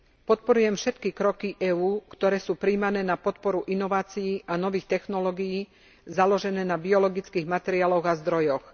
Podporujem všetky kroky EÚ, ktoré sú prijímané na podporu inovácií a nových technológií založených na biologických materiáloch a zdrojoch.